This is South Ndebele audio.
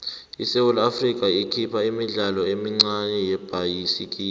isewula afrika ikhipha imidlalo emincane yebhayisikopo